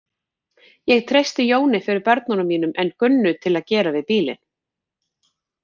Ég treysti Jóni fyrir börnunum mínum en Gunnu til að gera við bílinn.